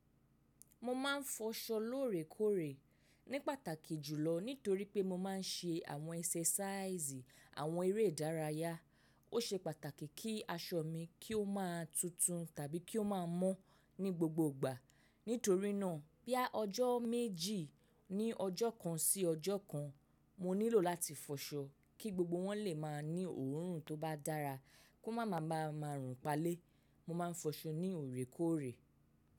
Mo ma n fọṣọ lóòrèkóòrè ní pàtàkì jùlọ nítorí pé mo ma n ṣe àwọn exercise àwọn eré ìdárayá. Ó ṣe pàtàkì kí aṣọ mi kí ó máa tutun tàbí kí ó máa mọ́ ní gbogbo ìgbà. Nítorí náà, boya ọjọ́ méjì ní ọjọ́ kan sí ọjọ́ kan, mo nílò láti fọṣọ kí gbogbo wọn lè máa ní òórùn tó bá dára kó má ma ma rùn palé. Mo ma n fọṣọ ní òrèkóòrè.